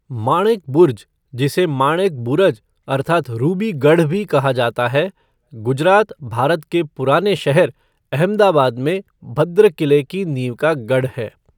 मानेक बुर्ज जिसे मानेक बुरज अर्थात 'रूबी गढ़' भी कहा जाता है गुजरात, भारत के पुराने शहर, अहमदाबाद में भद्रा किले की नींव का गढ़ है।